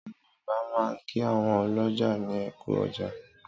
Àwọn Yorùbá máa ń kí àwọn ọlọ́jà ní ẹ kú ọjà.